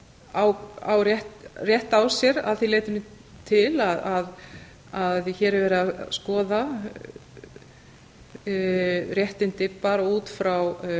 á rétt á sér að því leytinu til að hér er verið að skoða réttindi bara út frá